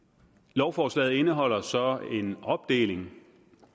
lovforslaget indeholder så en opdeling